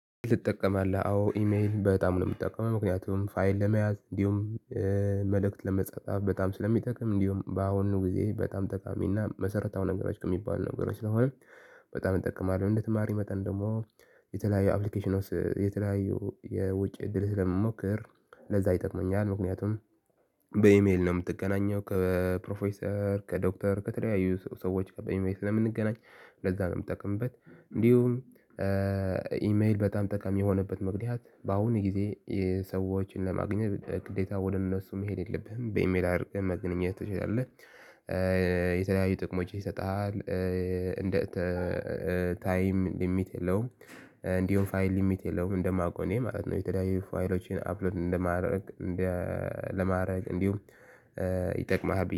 ልጠቀማለህ አዎ ኢሜል በጣም ነው የምጠቀመው ምክንያቱም ፋይል ለመያዝ እንዲሁም መልእክት ለመጻጻፍ በጣም ስለሚጠቅም እንዲሁም በአሁኑ ጊዜ በጣም ጠጣሚና መሰረታዊ ነገሮች ከሚባል ነገሮች ስለሆነ በጣም እጠቀማለሁ እንደ ተማሪ መጠን ደግሞ የተለያዩ አፕሊኬሽኖች የተለያዩ የውጭ እድል ስለመሞከር ለዛ ይጠቅመኛል። ምክንያቱም በኢሜል ነው የምትገናኘው ከፕሮፌሰር፣ ከዶክተር ከተለያዩ ሰዎች ጋር በኢሜል ስለምንገናኝ ለዛ ነው የምጠቅምበት እንዲሁም ኢሜል በጣም ጠቃሚ የሆነበት ምክኒያት በአሁኑ ጊዜ ሰዎችን ለማግኘት ግዴታ ወደ እነሱ መሄድ የለብህም :"በኢሜል አድርገህ መገናኘት ትችላለህ።" የተለያዩ ጥቅሞች ይሰጣል: እንደ ታይም ሊሚት የለውም፣ እንዲሁም ፋይል ሊሚት የለውም፣ እንደማውቀው እኔ ማለት ነው የተያዩ ፋይሎቼን አፕሎድ እንደማደርግ እንደ ለማድረግ እንዲሁም ይጠቅማሃል